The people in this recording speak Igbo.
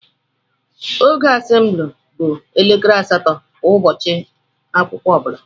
Oge assemble bụ elekere asatọ kwa Ụbọchị akwụkwọ ọbula.